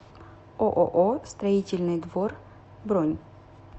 ооо строительный двор бронь